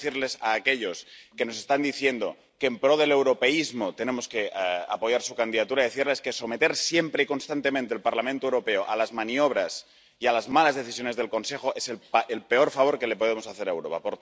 Y a aquellos que nos están diciendo que en pro del europeísmo tenemos que apoyar su candidatura, quiero decirles que someter siempre y constantemente al Parlamento Europeo a las maniobras y a las malas decisiones del Consejo es el peor favor que le podemos hacer a Europa.